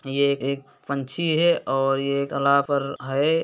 यह एक एक पंछी है और यह है।